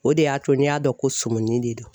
O de y'a to n'i y'a dɔn ko sumi de don.